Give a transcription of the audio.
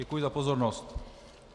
Děkuji za pozornost.